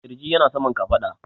ƙirji yana saman kafaɗa